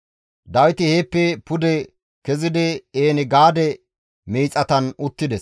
Dawiti heeppe pude kezidi En-Gaade miixatan uttides.